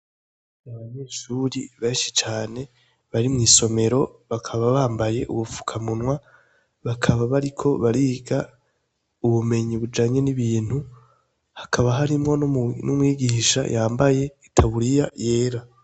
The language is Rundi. Abanyeshuri benshi cane bari mw'isomero bakaba bambaye ubufukamunwa, bakaba bariko bariga ubumenye bujanye nibintu hakaba harimwo n'umwigisha yambaye itaburiya yera.